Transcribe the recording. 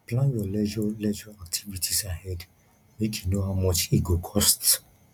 plan your leisure leisure activities ahead make you know how much e go cost